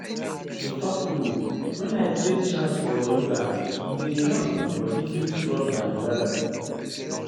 to talk true wen i create chance for yoga e dey help my body feel strong and well.